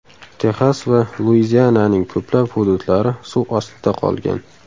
Texas va Luiziananing ko‘plab hududlari suv ostida qolgan.